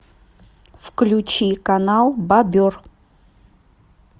включи канал бобер